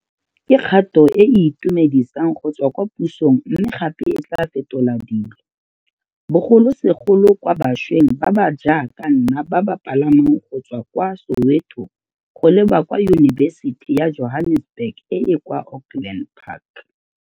Ke kgato e e itumedisang go tswa kwa pusong mme gape e tla fetola dilo, bogolosegolo kwa bašweng ba ba jaaka nna ba ba palamang go tswa kwa Soweto go leba kwa Yunibesiti ya Johannesburg e e kwa Auckland Park.